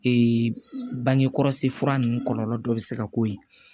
bange kɔlɔsi fura ninnu kɔlɔlɔ dɔ bɛ se ka k'o ye